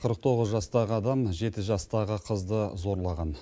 қырық тоғыз жастағы адам жеті жастағы қызды зорлаған